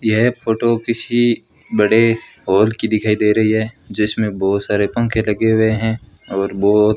यह फोटो किसी बड़े हॉल की दिखाई से रही है जिसमें बहुत सारे पंखे लगे हुए हैं और बहोत --